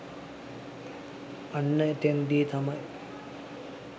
අන්න එතෙන්දී තමයි